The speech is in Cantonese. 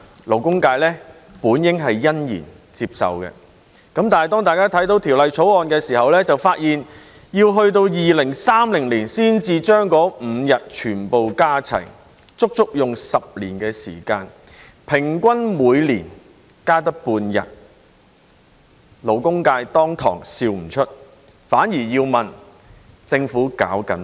勞工界本應欣然接受，但當大家看到這項法案時卻發現，要待至2030年才把那5天全部加齊，足足10年時間，平均每年只增加半天，勞工界登時笑不出來，反而要問政府在幹甚麼。